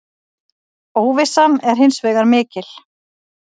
Óvissan er hins vegar mikil.